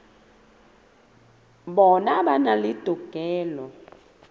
bona ba na le tokelo